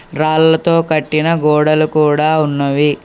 రాళ్లతో కట్టిన గోడలు కూడా ఉన్నవి.